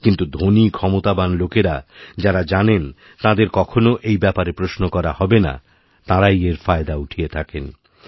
কিন্তু ধনী ক্ষমতাবান লোকেরা যাঁরা জানেন তাঁদের কখনও এইব্যাপারে প্রশ্ন করা হবে না তাঁরাই এর ফায়দা উঠিয়ে থাকেন